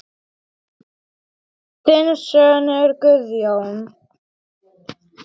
Þinn sonur Guðjón.